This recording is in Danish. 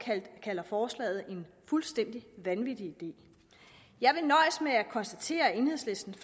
kalder forslaget en fuldstændig vanvittig idé jeg vil nøjes med at konstatere at enhedslistens